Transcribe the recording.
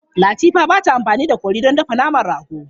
Latifa ba ta amfani da kori don dafa naman rago.